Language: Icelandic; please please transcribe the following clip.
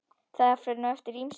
Það fer nú eftir ýmsu.